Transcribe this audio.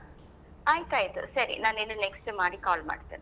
ಆಯ್ತ ಆಯ್ತು ಸರಿ ನಾನ ಇನ್ನು next ಮಾಡಿ call ಮಾಡ್ತೇನೆ.